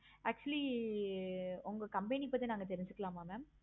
actually உங்க company பத்தி நாங்க தெரிஞ்சிக்கலாம் mam